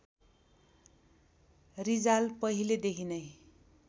रिजाल पहिलेदेखि नै